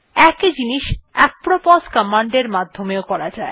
একই জিনিস apropos command এর মাধ্যমে ও করা যায়